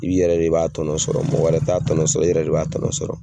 I bɛ yɛrɛ de b'a sɔrɔ mɔgɔ wɛrɛ t'a tɔnɔ sɔrɔ i yɛrɛ de b'a tɔnɔ sɔrɔ.